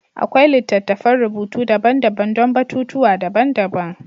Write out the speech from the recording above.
Akwai littattafan rubutu daban-daban don batutuwa daban-daban.